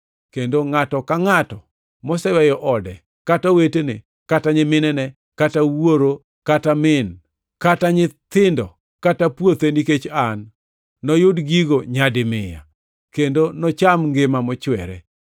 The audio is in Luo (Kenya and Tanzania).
Kendo ngʼato ka ngʼato moseweyo ode, kata owetene kata nyiminene, kata wuoro kata min, kata nyithindo, kata puothe nikech an, noyud gigo nyadi mia, kendo nocham ngima mochwere.